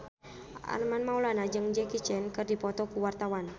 Armand Maulana jeung Jackie Chan keur dipoto ku wartawan